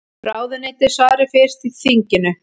Ráðuneyti svari fyrst í þinginu